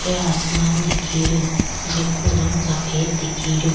ऊपर आसमान दिखे रो जेको रंग सफ़ेद दिखे रो।